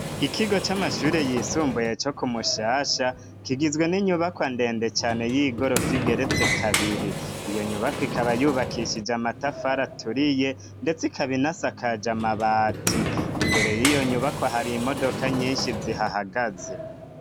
Ikigo c'amashure yisumbuye co ku Mushasha kigizwe n'inyubako ndende cane y'igorofa igeretse kabiri. Iyo nyubakwa ikaba yubakishije amatafari aturiye ndetse ikaba inasakaje amabati. Imbere y'iyo nyubakwa hari imodoka nyinshi zihahagaze.